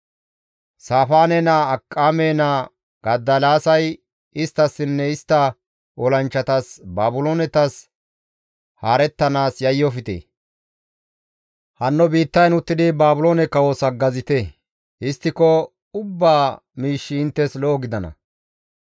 Saafaane naa Akiqaame naa Godoliyaasay isttassinne istta olanchchatas, «Baabiloonetas haarettanaas yayyofte; hanno biittayn uttidi Baabiloone kawos haggazite; histtiko ubbaa miishshi inttes lo7o gidana.